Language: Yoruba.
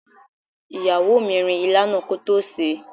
Ìyàwó mi rin ilá náà kótó sèé.